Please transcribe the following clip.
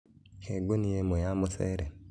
He gunia ĩmwe ya mũcere